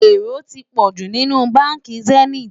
èrò tí pojú nínú bánkì zenith